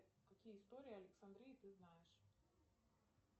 какие истории александрии ты знаешь